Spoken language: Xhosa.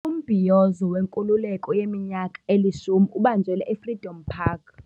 Umbhiyozo wenkululeko yeminyaka elishumi ubanjelwe eFreedom Park.